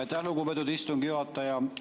Aitäh, lugupeetud istungi juhataja!